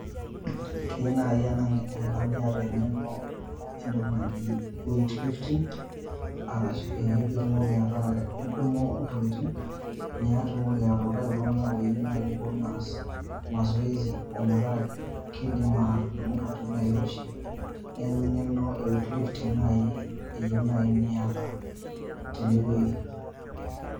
Keu nai ena niata eng'eno entoki naji weight lifting, arashu eh pitumoki ataa idumu ntokiting',nitumoki atuutai iltung'anak oyieu nai neas mazoezi, metaa kiidim atudumu intokiting' nairoshi. Neeku eng'eno e weight lifting nai eyieu nai niata tenewei.